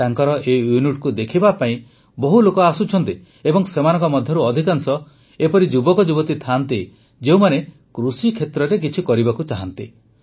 ତାଙ୍କର ଏହି ୟୁନିଟକୁ ଦେଖିବା ପାଇଁ ବହୁ ଲୋକ ଆସୁଛନ୍ତି ଏବଂ ସେମାନଙ୍କ ମଧ୍ୟରୁ ଅଧିକାଂଶ ଏପରି ଯୁବକ ଯୁବତୀ ଥାଆନ୍ତି ଯେଉଁମାନେ କୃଷିକ୍ଷେତ୍ରରେ କିଛି କରିବାକୁ ଚାହାନ୍ତି